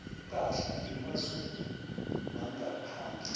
ipahla emazweni wangaphandle